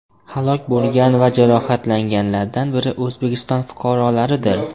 Halok bo‘lgan va jarohatlanganlardan biri O‘zbekiston fuqarolaridir.